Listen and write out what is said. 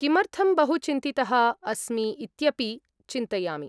किमर्थं बहु चिन्तितः अस्मि इत्यपि चिन्तयामि।